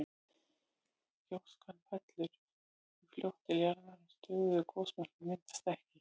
Gjóskan fellur því fljótt til jarðar og stöðugur gosmökkur myndast ekki.